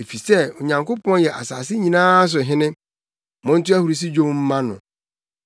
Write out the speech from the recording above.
Efisɛ Onyankopɔn yɛ asase nyinaa so Hene. Monto ahurusi nnwom mma no.